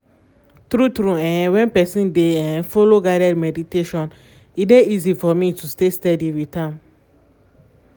true-true um when person dey um follow guided meditation e dey easy for me to um stay steady with am